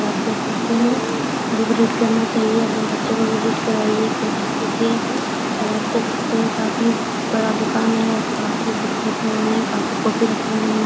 और आप देख सकते है बुक रीड करना चाहिए और अपने बच्चों को भी रीड करवाइए खुद रीड कीजिए और आप देख सकते है काफ़ी बड़ा दुकान है काफ़ी बुक्स रखे हुए हैं काफ़ी कॉपी रखे हुए हैं।